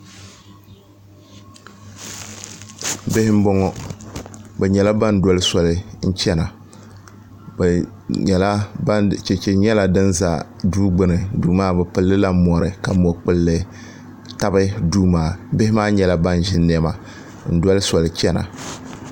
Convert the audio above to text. bihi n bɔŋɔ bi nyɛla ban dɔli sɔli n chɛna chɛchɛ nyɛla din ʒɛ duu gbuni duu maa bi pilila mori ka mo kpulli tabi Duu maa bihi maa nyɛla ban ʒi niɛma n dɔli sɔli chɛna